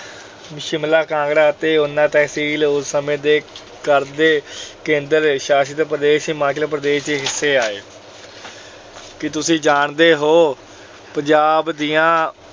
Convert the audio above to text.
ਸ਼ਿਮਲਾ, ਕਾਂਗੜਾ ਅਤੇ ਉਨਾ ਤਹਿਸੀਲ ਉਸ ਸਮੇਂ ਦੇ ਕੇਂਦਰ ਸ਼ਾਸਿਤ ਪ੍ਰਦੇਸ਼ ਹਿਮਾਚਲ ਪ੍ਰਦੇਸ਼ ਦੇ ਹਿੱਸੇ ਆਏ। ਕੀ ਤੁਸੀਂ ਜਾਣਦੇ ਹੋ ਪੰਜਾਬ ਦੀਆਂ